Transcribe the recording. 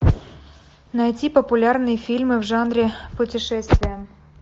найти популярные фильмы в жанре путешествия